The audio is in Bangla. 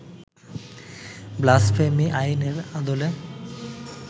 ব্লাসফেমি আইনের আদলে